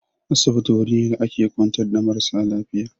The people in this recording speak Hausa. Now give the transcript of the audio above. Asibiti wuri ne da ake kwantar marasa lafiya.